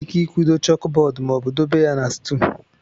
Enwere ike ịkwudo chókbọọdụ ma ọ bụ dobe ya na stùl